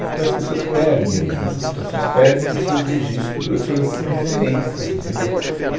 Então as pessoas perdem nessas situações, perdem os seus registros, as suas referências, entendeu?